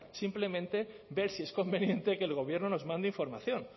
simplemente ver si es conveniente que el gobierno nos mande información